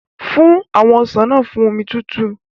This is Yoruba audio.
Fún àwọn ọsàn náà fún omi tútù.